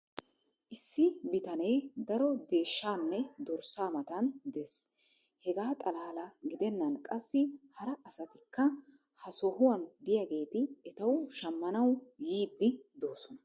issi bitanee daro deeshshaanne dorssaa matan dees. Hegaa xalaala gidennan qassi hara asatikka ha sohuwan diyaageeti etawu shamanawu yiidi doosona.